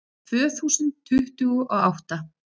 Tvö þúsund tuttugu og átta